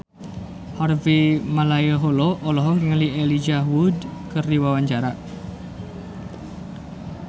Harvey Malaiholo olohok ningali Elijah Wood keur diwawancara